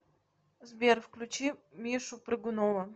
сбер включи мишу прыгунова